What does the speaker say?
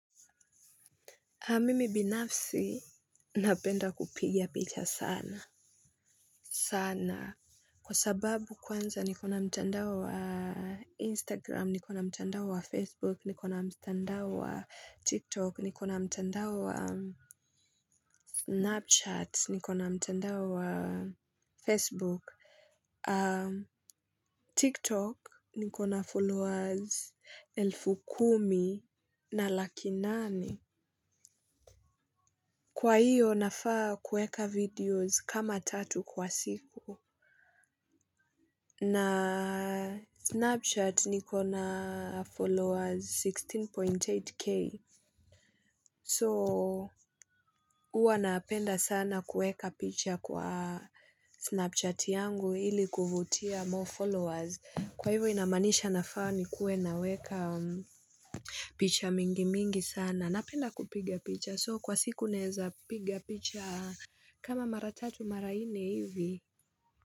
Mimi binafsi napenda kupiga picha sana, sana. Kwa sababu kwanza niko na mtandao wa Instagram, nikona mtandao wa Facebook, nikona mtandao wa TikTok, nikona mtandao wa Snapchat, nikona mtandao wa Facebook, TikTok nikona followers elfu kumi na laki nane. Kwa hiyo nafaa kuweka videos kama tatu kwa siku na Snapchat nikona followers 16.8k so huwa napenda sana kuweka picha kwa Snapchat yangu ili kuvutia more followers kwa hivyo inamanisha nafaa nikuwe naweka picha mingi mingi sana napenda kupiga picha so kwa siku naweza piga picha kama mara tatu mara tatu mara nne hivi.